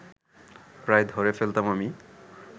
প্রায় ধরে ফেলতাম আমি